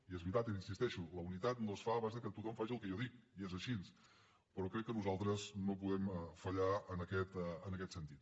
i és veritat hi insisteixo la unitat no es fa a base de que tothom faci el que jo dic i és així però crec que nosaltres no podem fallar en aquest sentit